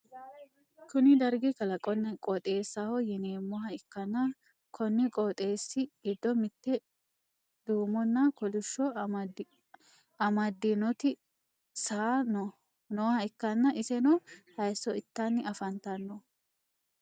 kuni dargi kalaqonna qooxeessaho yineemmoha ikkanna, konni qooxeessi giddo mitte duummonna kolishsho amaddinoti saaa nooha ikkanna, iseno hayisso ittanni afantanno.